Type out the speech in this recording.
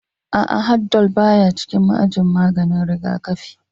A'a, Haldol baya cikin ajin maganin rigakafi